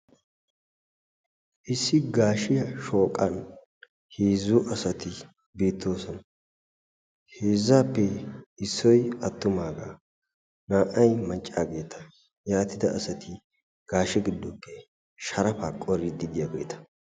issi gaashshiyaa shooqqan heezzu asati beettoosona. heezzaappe issoy attumaagaa naa"ay maccaageta. yaatida asati gaashshe giddoppe sharapaa qorriidi de'iyaageta.